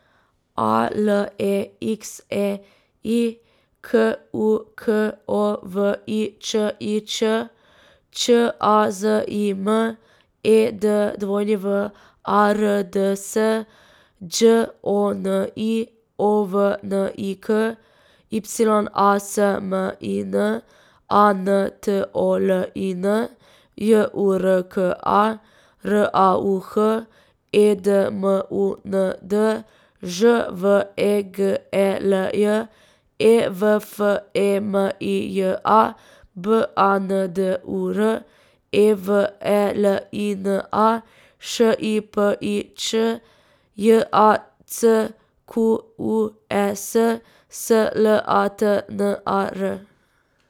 A L E X E I, K U K O V I Č I Č; Č A Z I M, E D W A R D S; Đ O N I, O V N I K; Y A S M I N, A N T O L I N; J U R K A, R A U H; E D M U N D, Ž V E G E L J; E V F E M I J A, B A N D U R; E V E L I N A, Š I P I Ć; J A C Q U E S, S L A T N A R.